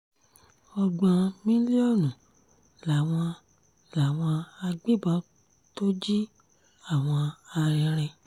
ọgbọ̀n mílíọ̀nù làwọn làwọn agbébọn tó jí àwọn arìnrìn